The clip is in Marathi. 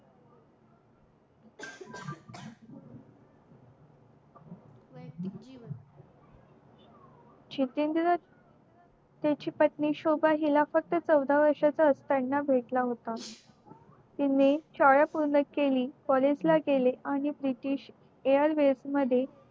जितेंद्र त्यांची पत्नी शोभा हिला फक्त चौदा वर्षा ची असताना भेटला होता तिनी शाळा पूर्ण केली college ला गेले आणि british airwaves मध्ये